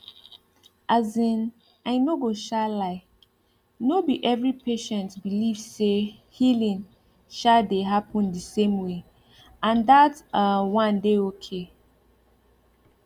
asin i no go um lie no be every patient believe say healing um dey happen di same way and that um one dey okay